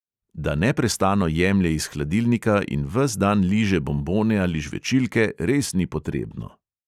Da neprestano jemlje iz hladilnika in ves dan liže bonbone ali žvečilke, res ni potrebno!